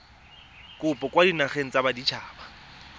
kopo kwa dinageng tsa baditshaba